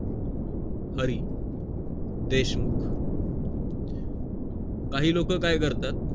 हरी देशमुख काही लोक काय करतात